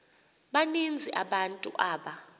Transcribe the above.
baninzi abantu aba